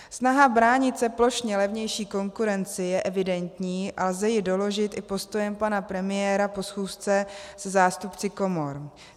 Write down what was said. Snaha bránit se plošně levnější konkurenci je evidentní a lze ji doložit i postojem pana premiéra po schůzce se zástupci komor.